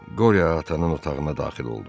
Qoryo atanın otağına daxil oldu.